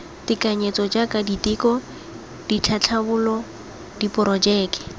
tekanyetso jaaka diteko ditlhatlhobo diporojeke